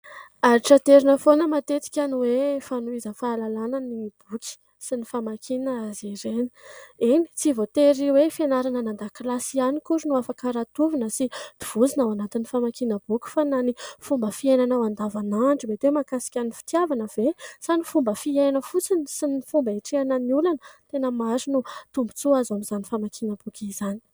Antitraterina foana matetika ny hoe fanovozana fahalalana ny boky sy ny famakiana azy ireny. Eny, tsy voatery hoe fianarana an-dakilasy ihany akory no afaka rantovina sy tovozina ao anatin'ny famakiana boky fa na ny fomba fiainana an-davanandro, mety mahakasika ny fitiavana ve sa ny fomba fiaina fotsiny sy ny fomba hiatrehana ny olana ? Tena maro ny tombontsoa azo amin'izany famakiana boky izany.